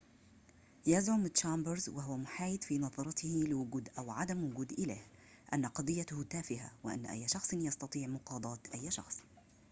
يزعم تشامبرز وهو محايد في نظرته لوجود أو عدم وجود إله أن قضيته تافهة وأن أي شخص يستطيع مقاضاة أي شخص